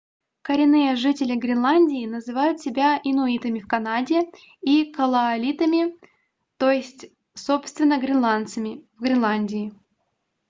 коренные жители гренландии называют себя инуитами в канаде и калааллитами ед.ч. — kalaalleq мн. ч. — kalaallit то есть собственно гренландцами в гренландии